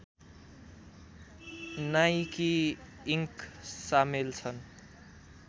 Nike Inc सामेल छन्